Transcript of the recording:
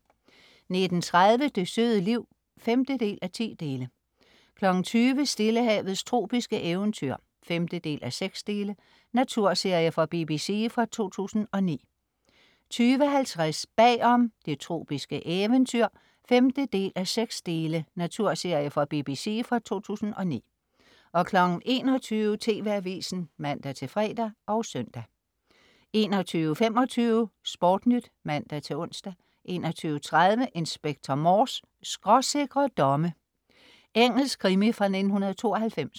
19.30 Det søde liv 5:10 20.00 Stillehavets tropiske eventyr 5:6 Naturserie fra BBC fra 2009 20.50 Bag om: Det tropiske eventyr 5:6 Naturserie fra BBC fra 2009 21.00 TV Avisen (man-fre og søn) 21.25 SportNyt (man-ons) 21.30 Inspector Morse: Skråsikre domme. Engelsk krimi fra 1992